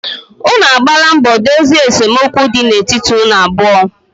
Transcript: unu agbaala mbọ dozie esemokwu di na etiti unu abụọ?